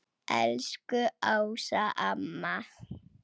Elsku Ása amma.